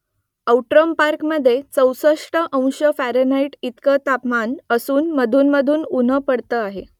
Outram पार्कमधे चौसष्ट अंश फॅरनहाईट इतकं तापमान असून मधून मधून उन्ह पडतं आहे